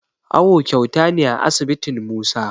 Awo kyauta ne a asibitin Musa